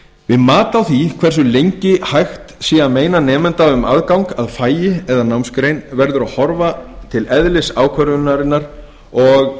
við mat á því hversu lengi sé hægt að meina nemanda um aðgang að fagi eða námsgrein verður að horfa til eðlis ákvörðunarinnar og